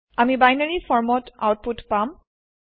আমি বাইনেৰী ফৰ্মত আওতপুত পাম